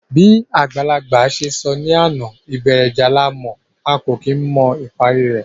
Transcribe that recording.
Bí àgbàlagbà se sọ ní àná, ìbẹ̀rẹ̀ ìjà la mọ̀, a kò kí n mọ ìparí rẹ̀